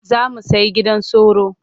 Za mu sai gidan sauro.